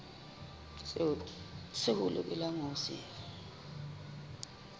seo a lokelang ho se